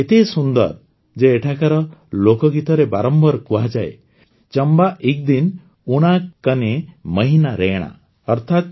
ଚମ୍ବା ଏତେ ସୁନ୍ଦର ଯେ ଏଠାକାର ଲୋକଗୀତରେ ବାରମ୍ବାର କୁହାଯାଏ ଚମ୍ବା ଇକ୍ ଦିନ ଓଣା କନେ ମହିନା ରୈଣା